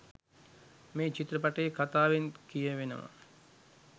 මේ චිත්‍රපටයේ කථාවෙන් කියවෙනවා